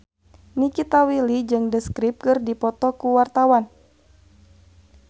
Nikita Willy jeung The Script keur dipoto ku wartawan